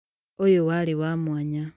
ũyũ warĩ wa mwanya